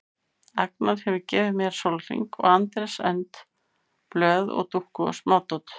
Agnar hefur gefið mér silfurhring og Andrés önd blöð og dúkku og smádót.